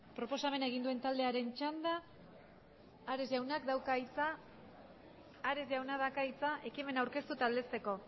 proposamena egin duen taldearen txanda ares jaunak dauka hitza ekimena aurkeztu eta aldezteko